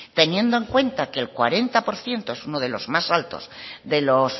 teniendo en cuenta que el cuarenta por ciento es uno de los más altos de los